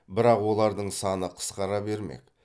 бірақ олардың саны қысқара бермек